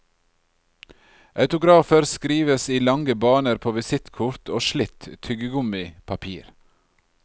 Autografer skrives i lange baner på visittkort og slitt tyggegummipapir.